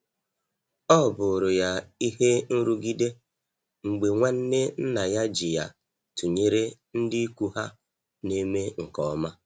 ọbụrụ ya ihe nrugide mgbe nwanne nna ya ji ya tụnyere ndị ikwu ha na-eme nke ọma.